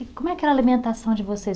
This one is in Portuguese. E como é que é a alimentação de vocês?